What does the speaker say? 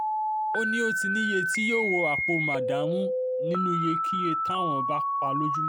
ó ní ó ti níye tí yóò wọ àpò màdààmú nínú iyekíye táwọn bá pa lójúmọ́